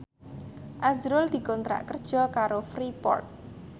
azrul dikontrak kerja karo Freeport